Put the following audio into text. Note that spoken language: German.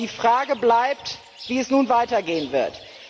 Doch die Frage bleibt, wie es nun weitergehen wird.